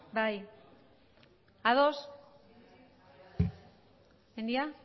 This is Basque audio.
mendia